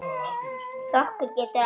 Flokkur getur átt við